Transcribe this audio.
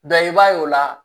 i b'a ye o la